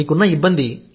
మీకున్న ఇబ్బంది